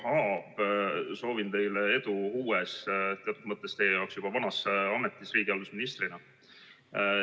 Jaak Aab, soovin teile edu uues, aga teatud mõttes teie jaoks juba vanas ametis riigihalduse ministrina!